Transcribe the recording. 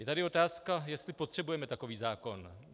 Je tady otázka, jestli potřebujeme takový zákon.